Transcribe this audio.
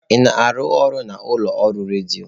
Ị na-arụ ọrụ n'ụlọ ọrụ redio?